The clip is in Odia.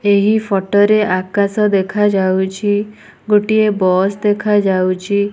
ଏହି ଫଟୋ ରେ ଆକାଶ ଦେଖାଯାଉଛି ଗୋଟିଏ ବସ୍ ଦେଖାଯାଉଛି।